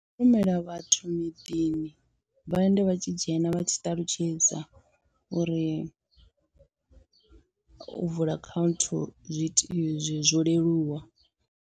Ndi u rumela vhathu miḓini vha ende vha tshi dzhena vha tshi ṱalutshedza uri u vula account zwi iti zwi zwo leluwa.